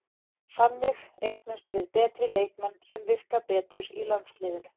Þannig eignumst við betri leikmenn sem virka betur í landsliðinu.